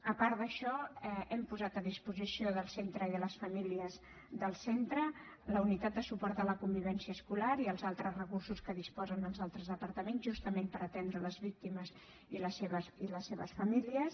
a part d’això hem posat a disposició del centre i de les famílies del centre la unitat de suport a la convivència escolar i els altres recursos de què disposen els altres departaments justament per atendre les víctimes i les seves famílies